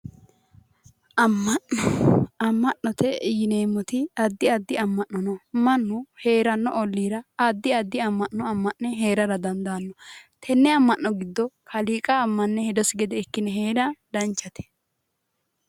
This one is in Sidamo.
Amma'na amma'note yineemmoti addi addi amma'no no mannu heeranno olliira addi addi amma'no amma'ne heerara dandaaanno tenne amma'no giddo kaliiqa ammanne hedosi hede ikkine heera danchate